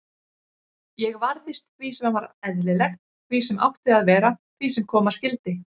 Ég varðist því sem var eðlilegt, því sem átti að vera, því sem koma skyldi.